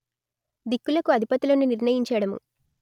దిక్కులకు అధిపతులను నిర్ణయించడము